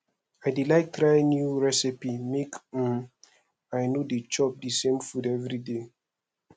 i dey like try new recipe make um i no dey chop di same food everyday